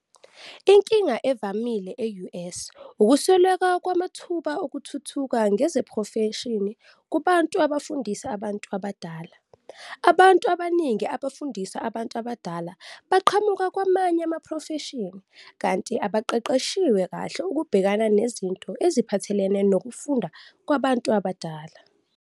Inkinga evamile e-US ukusweleka kwamathuba okuthuthuka ngezeprofeshini kubantu abafundisa abantu abadala. Abantu abaningi abafundisa abantu abadala baqhamuka kwamanye amaprofeshini kanti futhi abaqeqeshiwe kahle ukubhekana nezinto eziphathelene nokufunda kwabantu abadala.